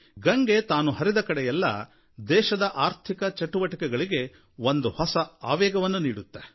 ಗಂಗೆ ತಾನು ಹರಿದ ಕಡೆಯೆಲ್ಲಾ ದೇಶದ ಆರ್ಥಿಕ ಚಟುವಟಿಕೆಗಳಿಗೆ ಒಂದು ಹೊಸ ಆವೇಗವನ್ನು ನೀಡುತ್ತೆ